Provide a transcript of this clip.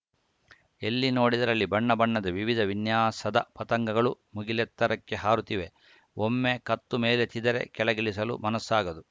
ಎಲ್ಲಿ ನೋಡಿದರಲ್ಲಿ ಬಣ್ಣ ಬಣ್ಣದ ವಿವಿಧ ವಿನ್ಯಾಸದ ಪತಂಗಗಳು ಮುಗಿಲೆತ್ತರಕ್ಕೆ ಹಾರುತ್ತಿವೆ ಒಮ್ಮೆ ಕತ್ತು ಮೇಲೆತ್ತಿದ್ದರೆ ಕೆಳಗಿಳಿಸಲು ಮನಸ್ಸಾಗದು